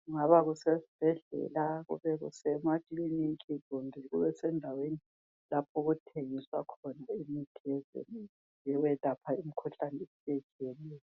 kungaba kusesibhedlela kube semaklinika kumbe kube sendaweni lapho okuthengiswa khona imithi esetshenziswa ukwelapha imkhuhlane eyehlukeneyo.